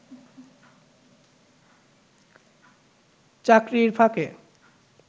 চাকরির ফাঁকে